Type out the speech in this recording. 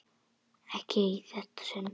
Ekki í þetta sinn.